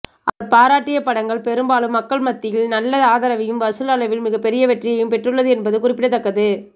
அவர் பாராட்டிய படங்கள் பெரும்பாலும் மக்கள் மத்தியில் நல்ல ஆதரவையும் வசூல் அளவில் மிகப்பெரிய வெற்றியையும் பெற்றுள்ளது என்பது குறிப்பிடத்தக்கது